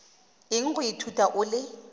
eng go ithuta o le